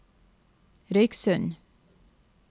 Røyksund